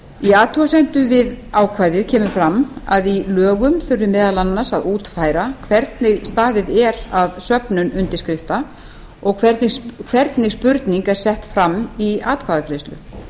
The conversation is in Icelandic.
í athugasemdum við ákvæðið kemur fram að í lögum þurfi meðal annars að útfæra hvernig staðið er að söfnun undirskrifta og hvernig spurning er sett fram í atkvæðagreiðslu